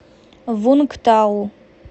вунгтау